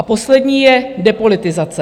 A poslední je depolitizace.